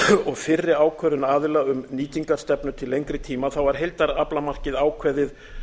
og fyrri ákvörðun aðila um nýtingarstefnu til lengri tíma var heildaraflamarkið ákveðið